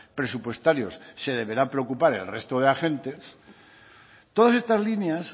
presupuestarios se deberá preocupar el resto de agentes todas estas líneas